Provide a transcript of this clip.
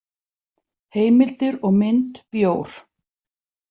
Heimildir og mynd Bjór.